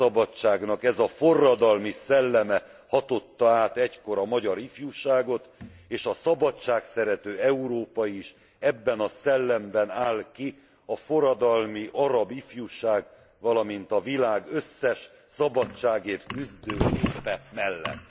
világszabadságnak ez a forradalmi szelleme hatotta át egykor a magyar ifjúságot, és a szabadságszerető Európa is ebben a szellemben áll ki a forradalmi arab ifjúság, valamint a világ összes szabadságért küzdő népe mellett.